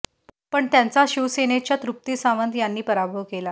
पण त्यांचा शिवसेनेच्या तृप्ती सावंत यांनी पराभव केला